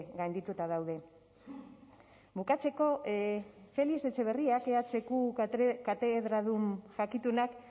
gaindituta daude bukatzeko félix etxeberriak ehuko katedradun jakitunak